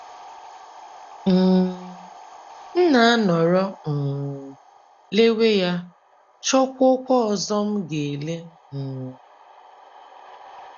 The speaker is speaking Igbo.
um □ M na - anọrọ um lewe ya, chọkwuokwa ọzọ m ga - ele. um